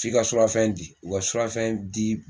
F'i ka surafɛn di u ka surafɛn di